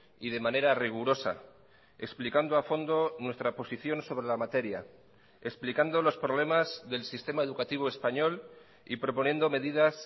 y de manera rigurosa explicando a fondo nuestra posición sobre la materia explicando los problemas del sistema educativo español y proponiendo medidas